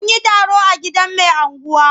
An yi taro a gidan mai unguwa.